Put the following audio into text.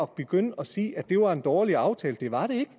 begynde at sige at det var en dårlig aftale det var det